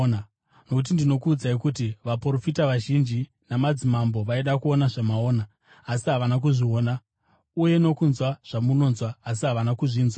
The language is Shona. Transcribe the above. nokuti ndinokuudzai kuti vaprofita vazhinji namadzimambo vaida kuona zvamunoona asi havana kuzviona, uye nokunzwa zvamunonzwa asi havana kuzvinzwa.”